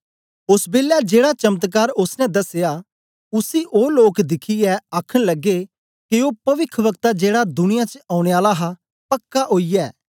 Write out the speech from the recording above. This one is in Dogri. ओस बेलै जेड़ा चमत्कार ओसने दसया उसी ओ लोक दिखियै आखन लगे के ओ पविखवक्ता जेड़ा दुनियां च औने आला हा पक्का ओईयै